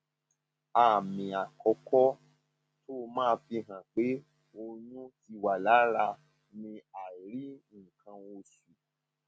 àmì àkọkọ tó máa ń fihàn pé oyún fihàn pé oyún ti wà lára ni àìrí nǹkan oṣù